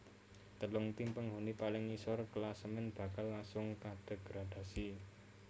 Telung tim penghuni paling ngisor klasemen bakal langsung kadegradasi